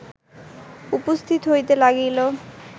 উপস্থিত হইতে লাগিল